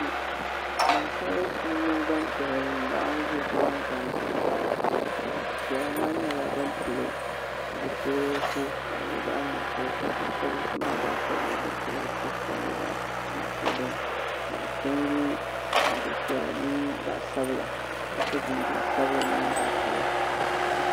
Gbansabilisi mini gbanpiɛla n laɣim ʒɛ kpe ŋɔ maa gbanpiɛla maa nyɛla ban pili zipilisi ka di nyɛ zaɣa nuɣusu ka gbansabilisi maa gba shɛba nyɛ ban pili zipilisi ka di nyɛ zaɣa nuɣusu dini ka bi chen yɛ liiga piɛla mini zaɣa sabila ka so jinjam sabila mini zaɣa piɛla.